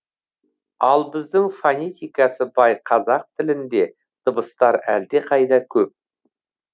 ал біздің фонетикасы бай қазақ тілінде дыбыстар әлдеқайда көп